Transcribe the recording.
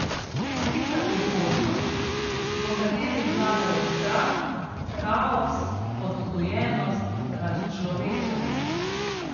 Slika prihodnost, v kateri vladajo strah, kaos, odtujenost, razčlovečenost.